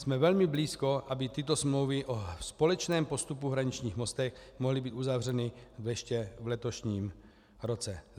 Jsme velmi blízko, aby tyto smlouvy o společném postupu hraničních mostů mohly být uzavřeny ještě v letošním roce.